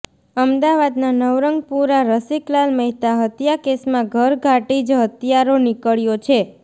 અમદાવાદના નવરંગપુરા રસિકલાલ મહેતા હત્યા કેસમાં ઘરઘાટી જ હત્યારો નીકળ્યો છે